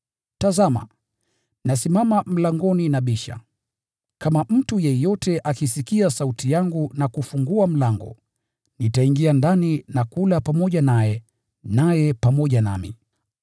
Tazama! Nasimama mlangoni nabisha. Kama mtu yeyote akisikia sauti yangu na kufungua mlango, nitaingia ndani na kula pamoja naye, naye pamoja nami.